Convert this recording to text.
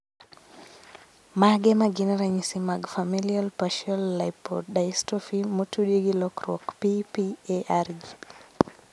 Mage magin ranyisi mag Familial partial lipodystrophy motudi gi lokruok PPARG